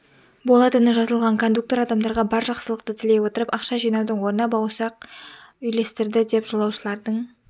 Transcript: болатыны жазылған кондуктор адамдарға бар жақсылықты тілей отырып ақша жинаудың орнына бауырсақ үйлестірді деді жолаушылардың